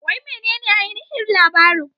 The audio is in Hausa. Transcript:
Wai menene ainihin labarin?